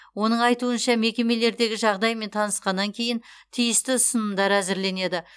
оның айтуынша мекемелердегі жағдаймен танысқаннан кейін тиісті ұсынымдар әзірленеді